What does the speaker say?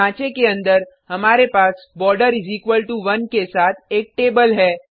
ढांचे के अंदर हमारे पास border1 के साथ एक टेबल है